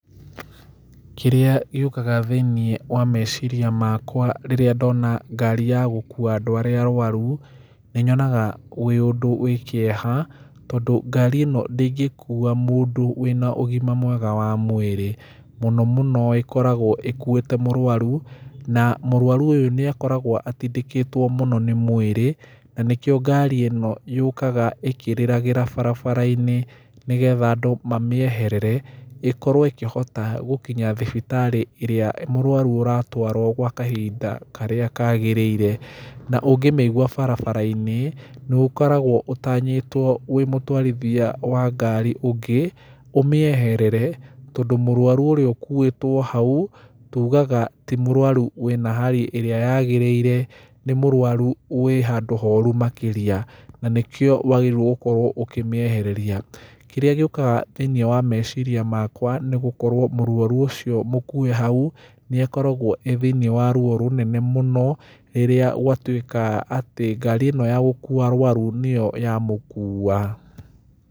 Kĩrĩa gĩũkaga thĩinĩ wa meciria makwa rĩrĩa ndona ngari ya gũkuwa andũ arĩa arwaru, nĩ nyonaga wĩ ũndũ wĩ kĩeha, tondũ ngari ĩno ndĩngĩkuwa mũndũ wĩna ũgima mwega wa mwĩrĩ, múũo mũno ĩkoragwo ĩkuĩte mũrwaru, na mũrwaru ũyũ nĩ akoragwo atindĩkĩtwo mũno nĩ mwĩrĩ, na nĩkĩo ngari ĩno yokaga ĩkĩrĩragĩra barabara-inĩ nĩgetha andũ mamĩeherere ĩkorwo ĩkĩhota gũkinya thibitarĩ ĩrĩa mũrwaru aratwaro gwa kahinda karĩa kagĩrĩire, na ũngĩmĩigwa barabara-inĩ, nĩ ũkoragwo ũtanyĩtwo wĩ mũtwarithia wa ngari ũngĩ, ũmĩeherere, tondũ mũrwaru ũrĩa ũkuĩtwo hau, tugaga ti mũrwaru wĩna hari ĩrĩa yagĩrĩire, nĩ mũrwaru wĩhandũ horu makĩria, na nĩkĩo wagĩrĩirwo gũkorwo ũkĩmĩehereria, kĩrĩa gĩũkaga thĩinĩ wa meciria makwa nĩ gũkorwo mũrwaru ũcio mũkuwe hau, nĩ akoragwo e thĩinĩ wa ruo rũnene mũno, rĩrĩa gwatuĩka atĩ ngari ĩno ya gũkuwa arwaru nĩyo ya mũkuwa.